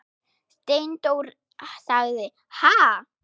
Steindór sagði: Ha?